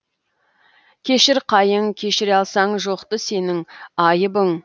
кешір қайың кешіре алсаң жоқты сенің айыбың